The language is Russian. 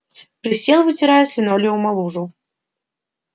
присел вытирая с линолеума лужу